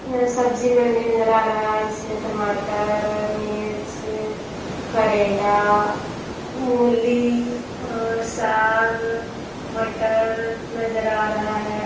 यह सब्जी मंडी नजर आ रहा है जिसमें टमाटर मिर्च करेला मुली और साग मटर नजर आ रहा है।